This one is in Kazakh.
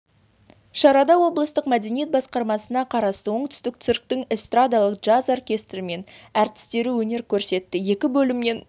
шарада облыстық мәдениет басқармасына қарасты оңтүстік цирктің эстрадалық джаз оркестрі мен әртістері өнер көрсетті екі бөлімнен